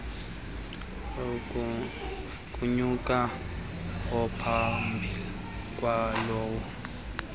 kunyaka ophambi kwalowo